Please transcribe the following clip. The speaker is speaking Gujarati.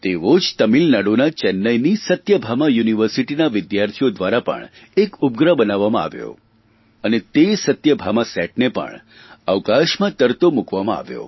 તેવો જ તમિળનાડુ ચેન્નાઇની સત્યાભામા યુનિવર્સિટીના વિદ્યાર્થીઓ દ્વારા પણ એક ઉપગ્રહ બનાવવામાં આવ્યો અને તે સત્યભામાસેટને પણ અવકાશમાં તરતો મૂકવામાં આવ્યો